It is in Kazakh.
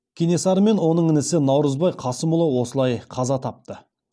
кенесары мен оның інісі наурызбай қасымұлы осылай қаза тапты